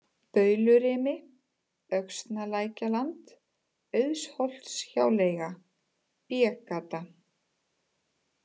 Baulurimi, Öxnalækjarland, Auðsholtshjáleiga, B-Gata